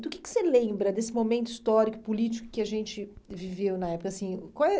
Do que que você lembra desse momento histórico político que a gente viveu na época? Assim, qual eh